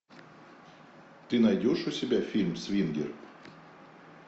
ты найдешь у себя фильм свингер